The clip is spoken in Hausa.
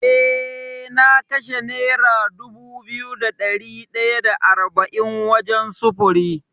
Eh na kashe nera dubu biyu da ɗari ɗaya da arba’in wajen sufuri.